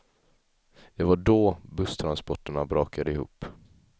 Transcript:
Det var då busstransporterna brakade ihop.